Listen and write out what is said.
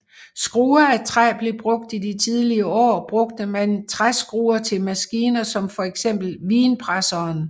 Skruer af træ blev brugt I de tidlige år brugte man træskruer til maskiner som fx vinpresseren